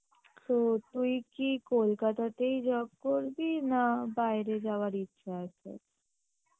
তো তুই কি কলকাতাতেই job করবি না বাইরে যাবার ইচ্ছা আছে?